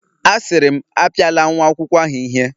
Asiri m, Apiala nwa akwukwo ahu ihe